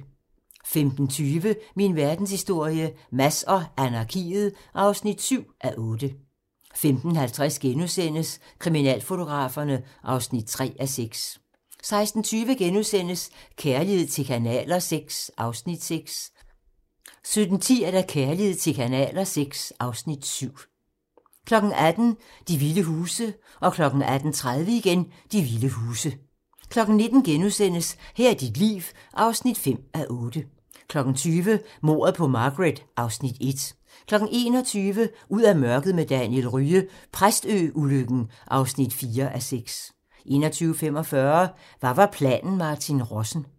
15:20: Min verdenshistorie - Mads og anarkiet (7:8) 15:50: Kriminalfotograferne (3:6)* 16:20: Kærlighed til kanaler VI (Afs. 6)* 17:10: Kærlighed til kanaler VI (Afs. 7) 18:00: De vilde huse (tir) 18:30: De vilde huse (tir) 19:00: Her er dit hit (5:8)* 20:00: Mordet på Margaret (Afs. 1) 21:00: Ud af mørket med Daniel Rye - Præstø-ulykken (4:6) 21:45: Hvad var planen Martin Rossen?